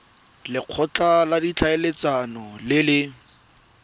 lekgotla la ditlhaeletsano le le